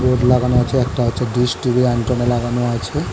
board লাগানো আছে একটা হচ্ছে ডিস্ টিভি এন্টনা লাগানো আছে--